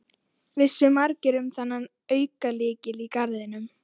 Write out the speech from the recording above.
Vissu margir um þennan aukalykil í garðinum?